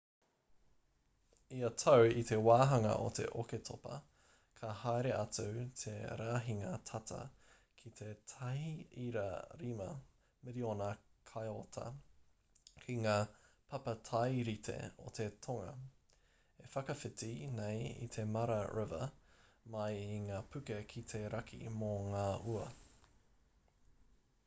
ia tau i te wāhanga o te oketopa ka haere atu te rahinga tata ki te 1.5 miriona kaiota ki ngā papatairite o te tonga e whakawhiti nei i te mara river mai i ngā puke ki te raki mō ngā ua